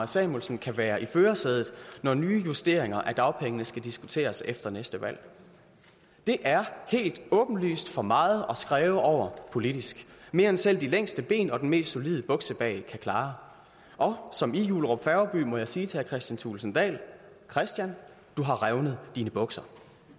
samuelsen kan være i førersædet når nye justeringer af dagpengene skal diskuteres efter næste valg det er helt åbenlyst for meget at skræve over politisk mere end selv de længste ben og den mest solide buksebag kan klare og som i jullerup færgeby må jeg sige til herre kristian thulesen dahl kristian du har revnet dine bukser